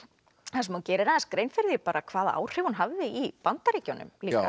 þar sem hún gerir grein fyrir því hvaða áhrif hún hafði í Bandaríkjunum líka